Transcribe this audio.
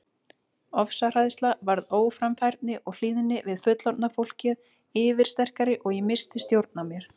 Ofsahræðsla varð óframfærni og hlýðni við fullorðna fólkið yfirsterkari og ég missti stjórn á mér.